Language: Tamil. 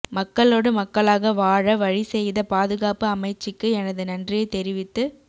மக்களோடு மக்களாக வாழ வழி செய்த பாதுகாப்பு அமைச்சிக்கு எனது நன்றியை தெரிவித்துக்